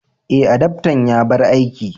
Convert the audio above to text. Eh, adaftan ya bar aiki.